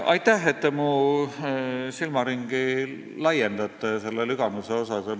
Aitäh, et te mu silmaringi Lüganuse asjus laiendate!